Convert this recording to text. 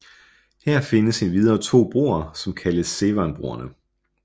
Her findes endvidere to broer som kaldes Severnbroerne